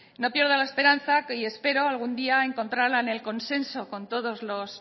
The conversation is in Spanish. no pierdo la esperanza y espero algún día encontrarla en el consenso con todos los